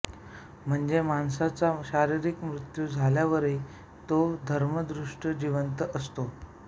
म्हणजे माणसाचा शारीरिक मृत्यू झाल्यावरही तो धर्मदृष्ट्या जिवंत असतो